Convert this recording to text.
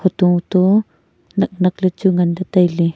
hoto to naknak ley chu nganley tailey.